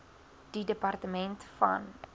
die departement van